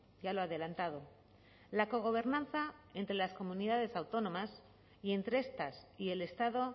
ya lo ha adelantado la cogobernanza entre las comunidades autónomas y entre estas y el estado